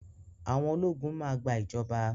Àwọn ológun máa gba ìjọba.